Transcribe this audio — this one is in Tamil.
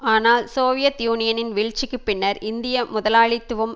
ஆனால் சோவியத் யூனியனின் வீழ்ச்சிக்கு பின்னர் இந்திய முதலாளித்துவம்